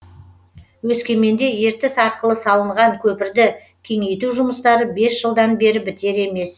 өскеменде ертіс арқылы салынған көпірді кеңейту жұмыстары бес жылдан бері бітер емес